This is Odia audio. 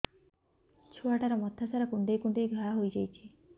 ଛୁଆଟାର ମଥା ସାରା କୁଂଡେଇ କୁଂଡେଇ ଘାଆ ହୋଇ ଯାଇଛି